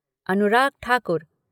Anurag Thakur